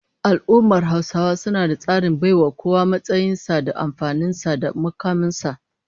Al'ummar Hausawa suna da tsarin baiwa kowa matsayin sa da amfanin sa da mukamin sa